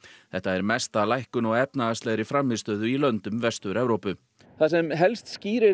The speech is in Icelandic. þetta er mesta lækkun á efnahagslegri frammistöðu í löndum Vestur Evrópu það sem helst skýrir